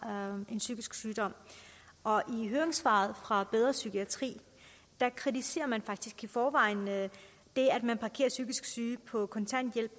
har en psykisk sygdom og i høringssvaret fra bedre psykiatri kritiserer man faktisk i forvejen det at man parkerer psykisk syge på kontanthjælp